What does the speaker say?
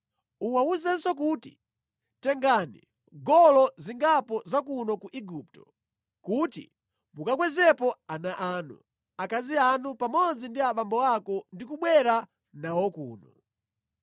“Uwawuzenso kuti, ‘Tengani ngolo zingapo za kuno ku Igupto kuti mukakwezepo ana anu, akazi anu pamodzi ndi abambo ako ndi kubwera nawo kuno.